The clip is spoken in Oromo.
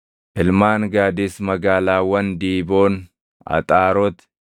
Ilmaan Gaadis magaalaawwan Diiboon, Axaaroti, Aroʼeer,